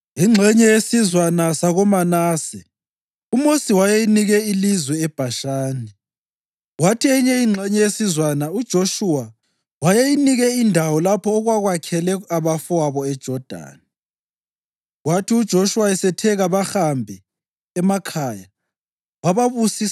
Ingxenye yesizwana sakoManase uMosi wayeyinike ilizwe eBhashani, kwathi eyinye ingxenye yesizwana uJoshuwa wayeyinike indawo lapho okwakwakhele abafowabo eJodani. Kwathi uJoshuwa esethe kabahambe emakhaya, wababusisa